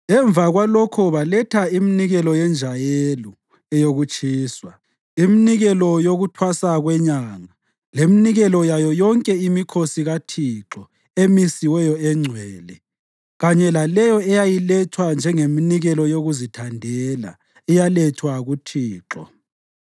Emva kwalokho baletha iminikelo yenjayelo eyokutshiswa, iminikelo yokuThwasa kweNyanga leminikelo yayo yonke imikhosi kaThixo emisiweyo engcwele, kanye laleyo eyayilethwa njengeminikelo yokuzithandela eyalethwa kuThixo.